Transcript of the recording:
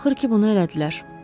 Axır ki bunu elədilər.